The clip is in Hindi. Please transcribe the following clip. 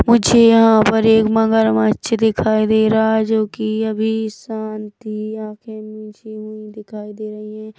मुझे यहाँ पर एक मगरमच्छ दिखाई दे रहा हैं जो की अभी शांति आँखे नीचे हुई दिखाई दे रही हैं।